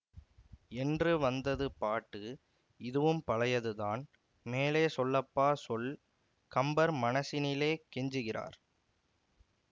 என்று வந்தது பாட்டு இதுவும் பழையதுதான் மேலே சொல்லப்பா சொல்கம்பர் மனசினிலே கெஞ்சுகிறார்